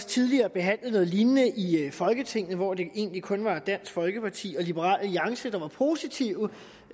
tidligere behandlet noget lignende i folketinget hvor det egentlig kun var dansk folkeparti og liberal alliance der var positive